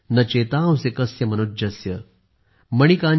न चेतांसी कस्य मनुज्स्य ।